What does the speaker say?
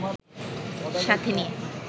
সাথে নিয়ে